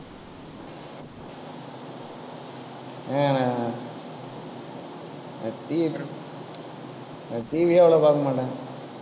ஹம் நா~ TV நான் TV யே அவ்ளோ பார்க்க மாட்டேன்